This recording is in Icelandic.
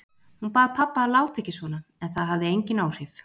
Hún bað pabba að láta ekki svona en það hafði engin áhrif.